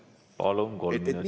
Palun, kolm minutit!